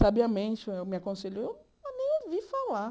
Sabiamente, ela me aconselhou mas nem ouvir falar.